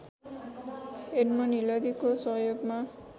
Edmund हिलारीकको सहयोगमा